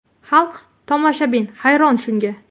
Xalq, tomoshabin hayron shunga.